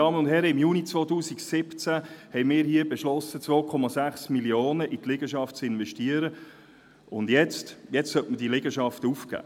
Im Juni 2017 haben wir hier beschlossen, 2,6 Mio. Franken in diese Liegenschaft zu investieren, und jetzt soll sie aufgegeben werden?